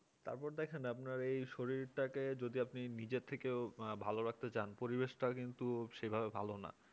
তারপর দেখেন আপনার এই শরীরটাকে যদি আপনি নিজের থেকেও ভালো রাখতে চান পরিবেশটা কিন্তু সেভাবে ভালো না